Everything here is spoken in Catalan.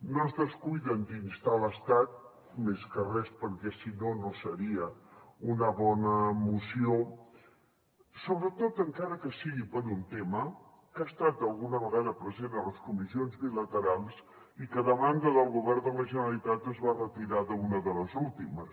no es descuiden d’instar l’estat més que res perquè si no no seria una bona moció sobretot encara que sigui per un tema que ha estat alguna vegada present a les comissions bilaterals i que a demanda del govern de la generalitat es va retirar d’una de les últimes